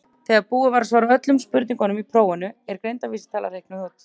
þegar búið er að svara öllum spurningum í prófinu er greindarvísitala reiknuð út